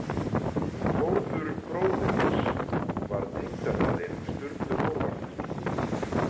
Þórður bróðir hans var tengdafaðir Sturlu Þórðarsonar.